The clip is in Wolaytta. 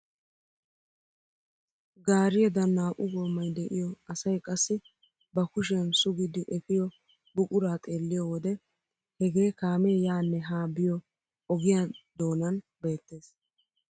Gaariyaagadan naa"u goomay de'iyoo asay qassi ba kushiyaan suggidi epiyoo buquraa xeelliyoo wode hegee kaamee yaanne haa biyoo ogiyaa doonan beettees.